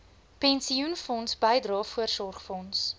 pensioenfonds bydrae voorsorgfonds